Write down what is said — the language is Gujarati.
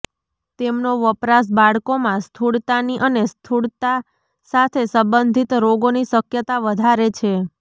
તેમનો વપરાશ બાળકોમાં સ્થૂળતાની અને સ્થૂળતા સાથે સંબંધિત રોગોની શક્યતા વધારે છે